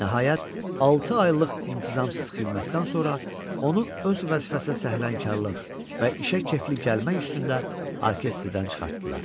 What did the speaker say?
Nəhayət, altı aylıq intizamsız xidmətdən sonra onu öz vəzifəsinə səhlənkarlıq və işə kefli gəlmək üstündə orkestrdən çıxartdılar.